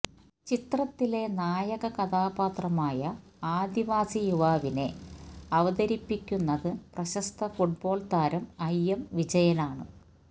ചിത്രത്തിലെ നായക കഥാപാത്രമായ ആദിവാസി യുവാവിനെ അവതരിപ്പിക്കുന്നത് പ്രശസ്ത ഫുട്ബോൾ താരം ഐ എം വിജയനാണ്